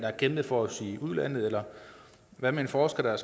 har kæmpet for os i udlandet eller hvad med en forsker der